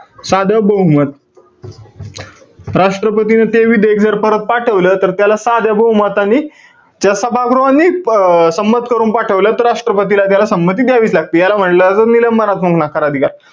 साधं बहुमत. राष्ट्रपतीने ते जर विधेयक परत पाठवलं, तर त्याला साध्या बहुमतानी, त्या सभागृहानीच अं संमत करून पाठवलं. तर राष्ट्रपतीला त्याला संमती द्यावीच लागते. याला म्हंटल जातं निलंबनात्मक नकार अधिकार.